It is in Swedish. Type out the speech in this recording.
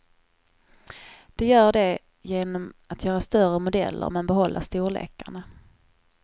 Det gör de genom att göra större modeller, men behålla storlekarna.